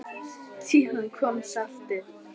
Síðar kom saltið.